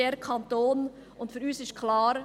– Für uns ist klar: